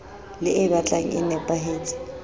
le e batlang e nepahetse